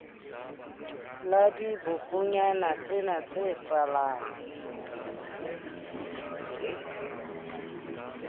la dibokonyana tsena tse salang